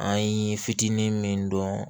An ye fitinin min dɔn